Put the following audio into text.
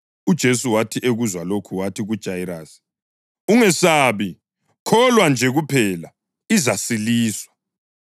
UJesu wathi ekuzwa lokhu wathi kuJayirasi, “Ungesabi, kholwa nje kuphela, izasiliswa.”